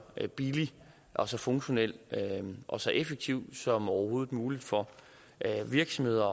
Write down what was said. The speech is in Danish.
billig og så funktionel og så effektiv som overhovedet muligt for virksomheder